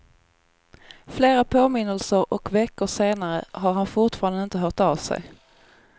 Flera påminnelser och veckor senare har han fortfarande inte hört av sig.